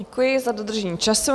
Děkuji za dodržení času.